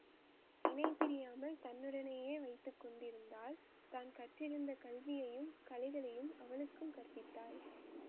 இணைபிரியாமல் தன்னுடனேயே வைத்து கொண்டிருந்தாள் தான் கற்றிருந்த கல்வியையும் கலைகளையும் அவளுக்கும் கற்பித்தாள்